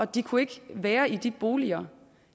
de kunne ikke være i de boliger